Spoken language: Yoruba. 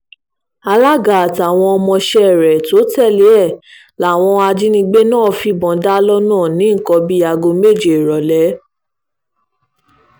alága àtàwọn ọmọọṣẹ́ rẹ̀ tó tẹ̀lé e láwọn ajínigbé náà fìbọn dá lọ́nà ní nǹkan bíi aago méje ìrọ̀lẹ́